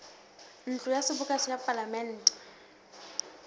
ntlo ya seboka ya palamente